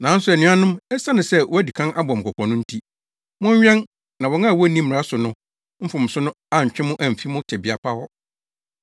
Nanso anuanom, esiane sɛ wɔadi kan abɔ mo kɔkɔ no nti, monwɛn na wɔn a wonni mmara so no mfomso no antwe mo amfi mo tebea pa hɔ.